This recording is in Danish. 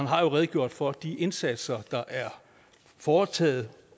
har redegjort for de indsatser der er foretaget